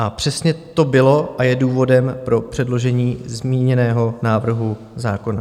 A přesně to bylo a je důvodem pro předložení zmíněného návrhu zákona.